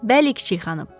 Bəli, kiçik xanım.